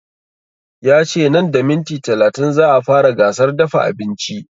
Ya ce nan da minti talatin za a fara gasar dafa abinci